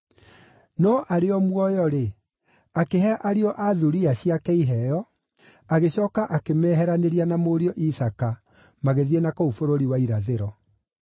No arĩ o muoyo-rĩ, akĩhe ariũ a thuriya ciake iheo, agĩcooka akĩmeheranĩria na mũriũ Isaaka magĩthiĩ na kũu bũrũri wa irathĩro.